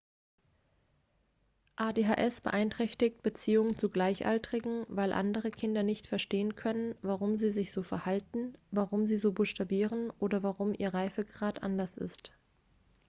adhs beeinträchtigt beziehungen zu gleichaltrigen weil andere kinder nicht verstehen können warum sie sich so verhalten warum sie so buchstabieren oder warum ihr reifegrad anders ist